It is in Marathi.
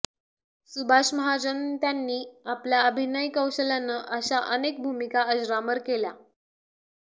सुभाष महाजन त्यांनी आपल्या अभिनय कौशल्यानं अशा अनेक भूमिका अजरामर केल्या